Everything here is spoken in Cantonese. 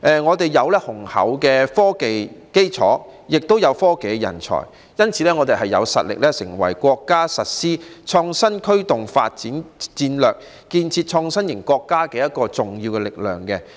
香港有雄厚的科技基礎，也有科技人才，所以有實力成為國家實施創新驅動發展戰略，加快建設創新型國家的重要力量。